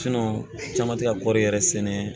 caman tɛ ka kɔɔri yɛrɛ sɛnɛ